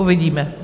Uvidíme.